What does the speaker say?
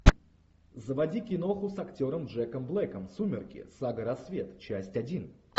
заводи киноху с актером джеком блэком сумерки сага рассвет часть один